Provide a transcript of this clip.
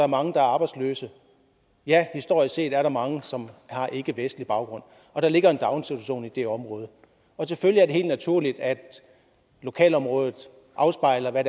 mange der er arbejdsløse og ja historisk set er der mange som har ikkevestlig baggrund der ligger en daginstitution i det område og selvfølgelig er det helt naturligt at lokalområdet afspejler hvad